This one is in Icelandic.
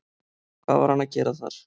Hvað var hann að gera þar?